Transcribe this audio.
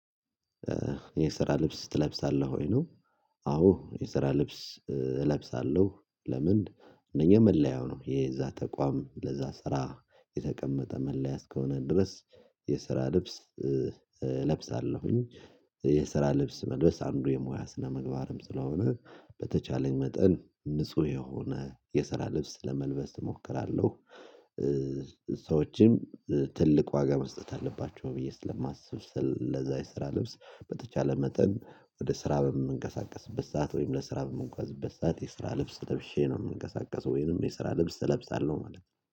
የስራ ልብስ ትለብሳለህ ወይ ነው? አዎ የስራ ልብስ እለብሳለሁ። ለምን እነኚህ መለያው ነው የዛ ተቋም ለዛ ስራ የተቀመጠ መለያ እስከሆነ ድረስ የስራ ልብስ እለብሳለሁኝ። የስራ ልብስ መልበስ አንዱ የሙያ ስነምግባርም ስለሆነ በተቻለኝ መጠን ንጹህ የሆነ የሰራ ልብስ ለመልበስ እሞክራለሁ። ሰዎችም ትልቅ ዋጋ መስጠት አለባቸው ብዬ ስለማስብ ስለዛ የስራ ልብስ በተቻለ መጠን ወደ ስራ በምንቀሳቀስበት ሰዓት ወይም ለስራ በምጓዝበት ሰዓት የስራ ልብስ ለብሼ ነው። የምንቀሳቀሰው ወይንም የስራ ልብስ እለብሳለሁ ማለት ነው